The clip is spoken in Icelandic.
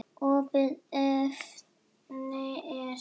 Opið efni er